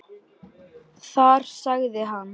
Þar sagði hann